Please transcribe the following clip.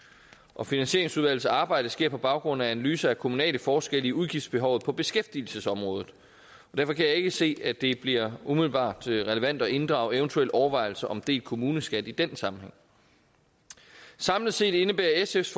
og finansieringsudvalgets arbejde sker på baggrund af analyser af kommunale forskelle i udgiftsbehovet på beskæftigelsesområdet derfor kan jeg ikke se at det bliver umiddelbart relevant at inddrage eventuelle overvejelser om delt kommuneskat i den sammenhæng samlet set indebærer sfs